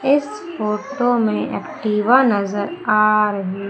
इस फोटो में एक्टिवा नजर आ रही--